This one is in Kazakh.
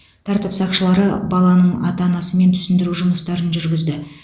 тәртіп сақшылары баланың ата анасымен түсіндіру жұмыстарын жүргізді